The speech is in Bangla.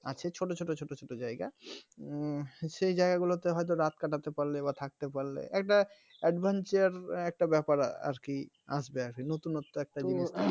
আছে ছোট ছোট ছোট ছোট জায়গা হম সেই জায়গা গুলোতে হয়তো রাত কাটাতে পারলে বা থাকতে পারলে একটা adventure একটা ব্যাপার আরকি আসবে নতুন ণত্ব একটা জিনিস